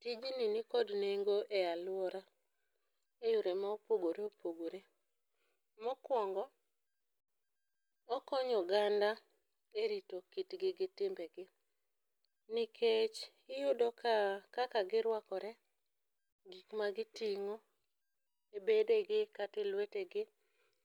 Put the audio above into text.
Tijni nikod nengo e alwora e yore mopogore opogore . Mokwongo, okonyo oganda e rito kitgi gi timbegi nikech iyudo ka kaka girwakore, gik magiting'o e bedegi kata e lwetegi,